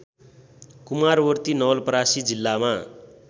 कुमारवर्ती नवलपरासी जिल्लामा